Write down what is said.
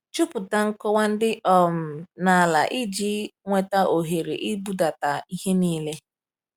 Jupụta nkọwa dị um n’ala iji nweta ohere ịbudata ihe niile!